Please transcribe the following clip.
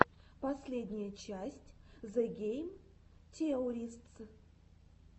последняя часть зе гейм теористс